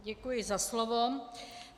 Děkuji za slovo.